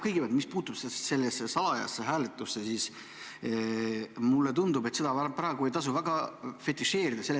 Kõigepealt, mis puutub salajasse hääletusse, siis mulle tundub, et seda vähemalt praegu ei tasu väga fetišeerida.